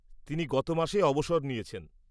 তিনি গত মাসে অবসর নিয়েছেন।